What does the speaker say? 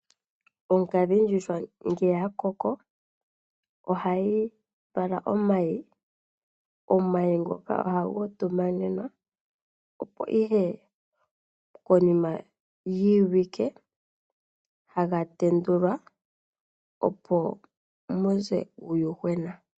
Onkadhindjuhwa ngele ya koko ohayi vala omayi. Omahi ngoka ohaga utumanemwa opo ihe konima yiiwike haga tendulwa opo mu ze uuyuhwena.